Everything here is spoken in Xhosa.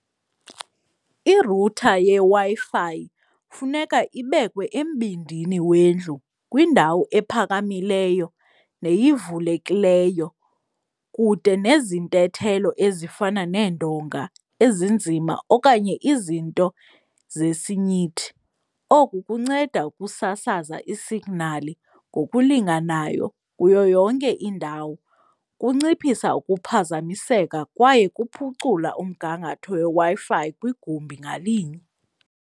Irutha yeWi-Fi funeka ibekwe embindini wendlu kwindawo ephakamileyo neyivulekileyo kude nezintethelo ezifana neendonga ezinzima okanye izinto zesinyithi. Oku kunceda ukusasaza isignali ngokulinganayo kuyo yonke indawo. Kunciphisa ukuphazamiseka kwaye kuphucula umgangatho weWi-Fi kwigumbi ngalinye.